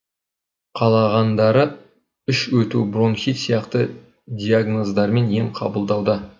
қалағандары іш өту бронхит сияқты диагноздармен ем қабылдауда